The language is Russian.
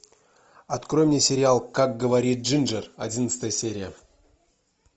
открой мне сериал как говорит джинджер одиннадцатая серия